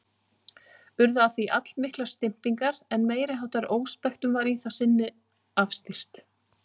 Urðu af því allmiklar stimpingar, en meiriháttar óspektum var í það sinn afstýrt.